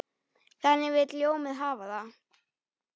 Þannig vill ljónið hafa það.